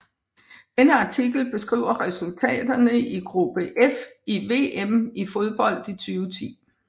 Denne artikel beskriver resultaterne i gruppe F i VM i fodbold 2010